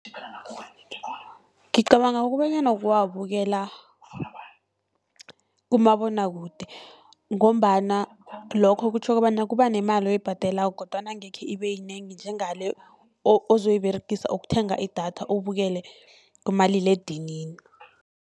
Ngicabanga kobanyana kuwabukela kumabonwakude, ngombana lokho kutjho kobana kuba nemali oyibhadelako kodwana angekhe ibe yinengi, njengale ozoyiberegisa ukuthenga idatha ubukele kumaliledinini.